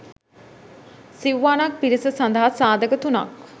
සිව්වනක් පිරිස සඳහා සාධක තුනක්